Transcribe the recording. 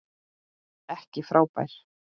Ekki frábær.